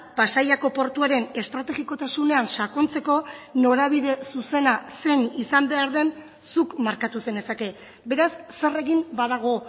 pasaiako portuaren estrategikotasunean sakontzeko norabide zuzena zein izan behar den zuk markatu zenezake beraz zer egin badago